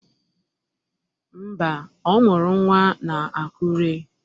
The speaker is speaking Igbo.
Mba, ọ mụrụ nnwa na Akụre.